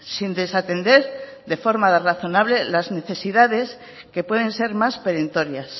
sin desatender de forma razonable las necesidades que pueden ser más perentorias